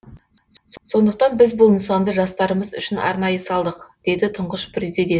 сондықтан біз бұл нысанды жастарымыз үшін арнайы салдық деді тұңғыш президент